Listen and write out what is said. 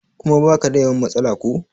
kuma ba ka da yawan matsala ko?